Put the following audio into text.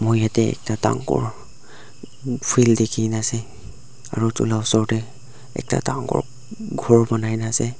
moi yatae ekta dangor field dikhi na ase aro edu la osor tae ekta dangor khor banai na ase.